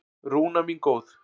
Rúna mín góð.